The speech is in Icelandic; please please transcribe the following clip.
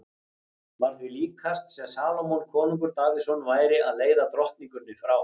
Var því líkast sem Salómon konungur Davíðsson væri að leiða drottningunni frá